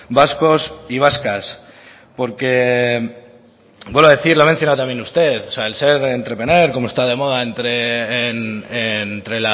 vascos y vascas porque vuelvo a decir lo ha mencionado también usted o sea el ser entrepreneur como está de moda